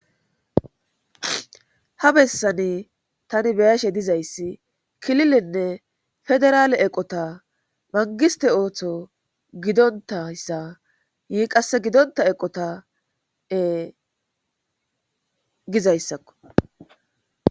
Ha bessani tani beyashe dizayssi kililenne federaale eqota mangiste ooththo gidontayssa yii qasse gidonta eqotae gizayssakko.